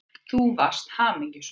Þú varst hamingjusöm.